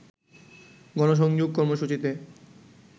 গণসংযোগ কর্মসূচিতে